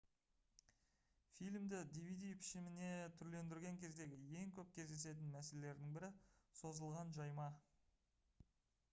фильмді dvd пішіміне түрлендірген кездегі ең көп кездесетін мәселелердің бірі созылған жайма